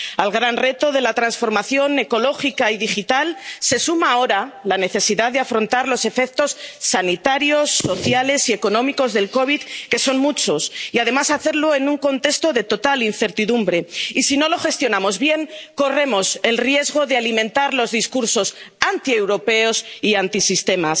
Al gran reto de la transformación ecológica y digital, se suma ahora la necesidad de afrontar los efectos sanitarios, sociales y económicos de la COVID, que son muchos, y además hacerlo en un contexto de total incertidumbre. Y si no lo gestionamos bien, corremos el riesgo de alimentar los discursos antieuropeos y antisistema.